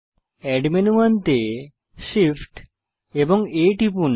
add menu আনতে Shift এবং A টিপুন